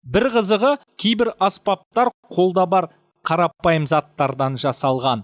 бір қызығы кейбір аспаптар қолда бар қарапайым заттардан жасалған